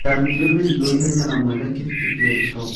Ndarutire mĩrigo ihenya na mwene kibikibi agĩcoka.